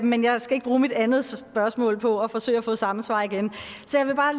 men jeg skal ikke bruge mit andet spørgsmål på at forsøge at få samme svar igen så jeg vil bare